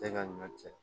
Tɛ ka ɲɔ cɛ